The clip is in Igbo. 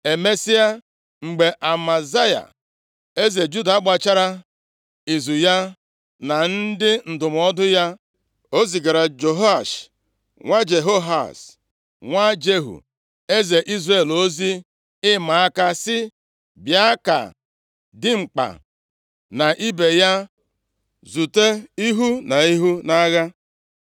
Emesịa, mgbe Amazaya, eze Juda gbachara izu ya na ndị ndụmọdụ ya, o zigara Jehoash nwa Jehoahaz, nwa Jehu, eze Izrel ozi ịma aka, sị, “Bịa ka dimkpa na ibe ya zute ihu na ihu nʼagha.”